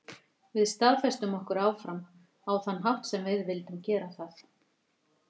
Við staðfestum okkur áfram, á þann hátt sem við vildum gera það.